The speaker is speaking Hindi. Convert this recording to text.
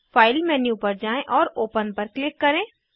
फाइल मेन्यू पर जाएँ और ओपन पर क्लिक करें